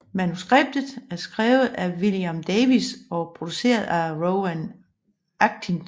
Manuskriptet er skrevet af William Davies og produceret af Rowan Atkinson